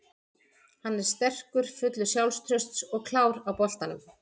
Hann er sterkur, fullur sjálfstrausts og klár á boltanum.